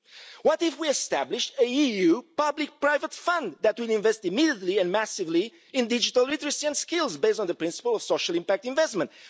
What if we established an EU public private fund that will invest immediately and massively in digital literacy and skills, based on the principle of social impact investment?